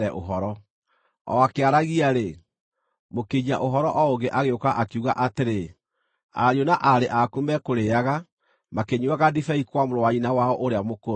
O akĩaragia-rĩ, mũkinyia-ũhoro o ũngĩ agĩũka, akiuga atĩrĩ, “Ariũ na aarĩ aku mekũrĩĩaga, makĩnyuuaga ndibei kwa mũrũ wa nyina wao ũrĩa mũkũrũ;